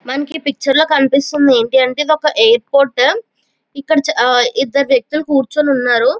మనకి ఈ పిక్చర్ లో కనిపిస్తూ ఉన్నది ఏంటంటే ఇదొక ఎయిర్ పోర్ట్ ఇక్కడ ఇద్దరు వేక్తిలి కూర్చొని ఉన్నారు.